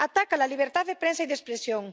Ataca a la libertad de prensa y de expresión.